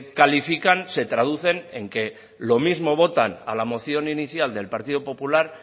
califican se traducen en que lo mismo votan a la moción inicial del partido popular